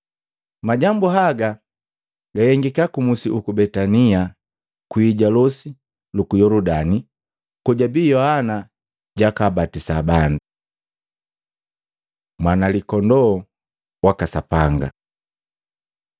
Majambu haga gahengika ku musi uku Betania kwii ja losi luku Yoludani, kojabii Yohana jwakabatisa bandu. Mwana Likondoo waka Sapanga